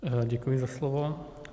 Děkuji za slovo.